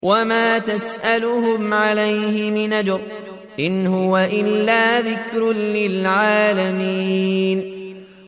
وَمَا تَسْأَلُهُمْ عَلَيْهِ مِنْ أَجْرٍ ۚ إِنْ هُوَ إِلَّا ذِكْرٌ لِّلْعَالَمِينَ